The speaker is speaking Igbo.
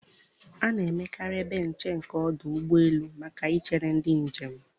A na-emekarị ebe nche nke ọdụ ụgbọ elu maka ị chere ndị njem.